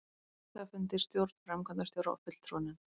hluthafafundi, stjórn, framkvæmdastjóra og fulltrúanefnd.